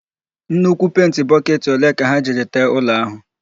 Nnukwu penti bọketị ole ka ha jiri tee ụlọ áhụ̀?